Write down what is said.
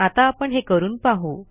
आता आपण हे करून पाहू